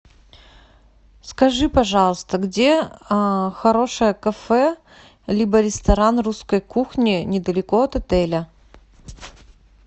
скажи пожалуйста где хорошее кафе либо ресторан русской кухни недалеко от отеля